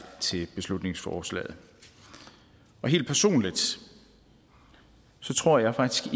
til beslutningsforslaget helt personligt tror jeg faktisk